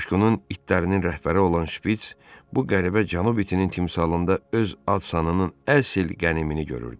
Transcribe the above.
Qoşqunun itlərinin rəhbəri olan şpits bu qəribə cənub itinin timsalında öz ad-sanının əsl qənimini görürdü.